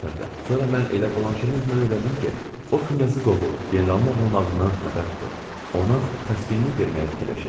Sonra mən elə Blanşenin özündən öyrəndim ki, o knyazı qovub, generalın ağlamağından xəbər tutub ona təskinlik verməyə fikirləşib.